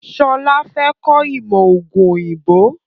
Sọlá fẹ́ kọ ìmọ̀ ọógún òyìnbó